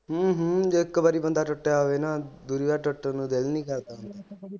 ਹੂ ਹੂ ਜਦੋ ਇਕ ਵਾਰੀ ਬੰਦਾ ਟੁਟਿਆ ਹੋਵੇ ਨਾ ਦੂਜੀ ਵਾਰੀ ਟੁੱਟਣ ਨੂੰ ਦਿਲ ਨਹੀਂ ਕਰਦਾ।